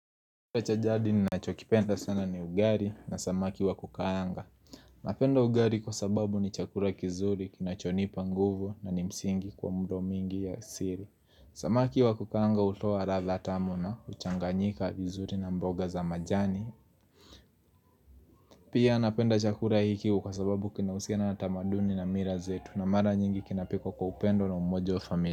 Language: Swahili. Chakula cha jadi ni nacho kipenda sana ni ugari na samaki wa kukaanga Napenda ugari kwa sababu ni chakura kizuri kinacho nipa nguvu na ni msingi kwa mro mingi ya asiri Samaki wa kukaanga hutoa latha tamu na, huchanganyika, vizuri na mboga za majani Pia napenda chakura hiki kwa sababu kina uhusiana na tamaduni na mira zetu na mara nyingi kina pikwa kwa upendo na umoja wa familia.